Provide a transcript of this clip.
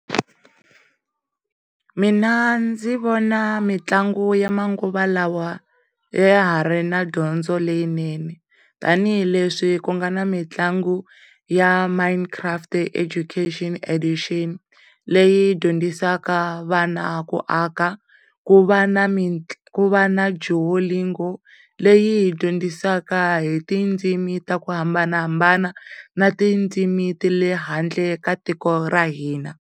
Mina ndzi vona mitlangu ya manguva lawa ya ha ri na dyondzo leyinene tanihi le swi ku nga na mitlangu ya Minecraft Education Addition leyi dyondzisaka vana ku aka, ku va na Dua lingual leyi dyondzisa hi ti tindzimi to hambanahambana na tindzimi ta le handle ka tiko ra hina.